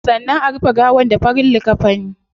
Sannan a rufe gawar da farin likkafini